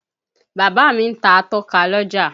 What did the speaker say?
Bàbá mi ń ta atọ́ka l'ọ́jà.